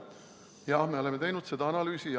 Jah, me oleme teinud seda analüüsi.